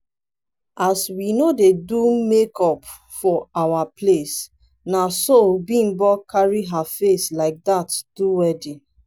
as we no dey do make-up for our place na so bimbo carry her face like that do wedding